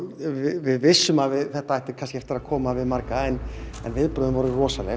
við vissum að þetta ætti kannski eftir að koma við marga en viðbrögðin voru rosalega